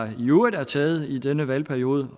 i øvrigt er taget i denne valgperiode